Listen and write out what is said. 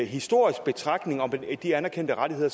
historisk betragtning om de anerkendte rettigheder